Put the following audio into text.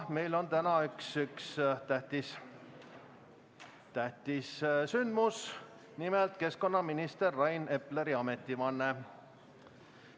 Meil on täna üks tähtis sündmus, nimelt annab keskkonnaminister Rain Epler ametivande.